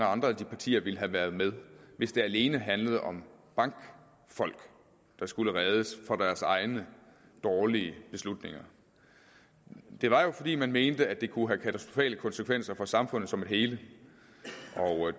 andre partier ville have været med hvis det alene handlede om bankfolk der skulle reddes fra deres egne dårlige beslutninger det var jo fordi man mente at det kunne have katastrofale konsekvenser for samfundet som et hele